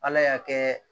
Ala y'a kɛ